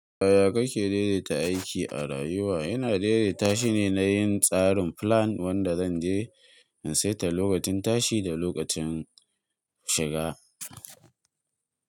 Yaya kake daidaita aiki a rayuwa? Ina daidaita shine na yin tsarin plan wanda zan je in saita lokacin tashi da lokacin shiga.